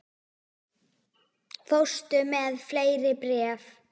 Fórstu með fleiri bréf?